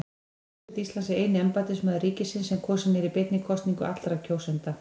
Forseti Íslands er eini embættismaður ríkisins sem kosinn er beinni kosningu allra kjósenda.